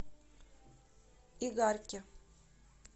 игарке